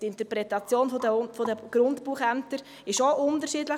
Die Interpretation der Grundbuchämter war unterschiedlich.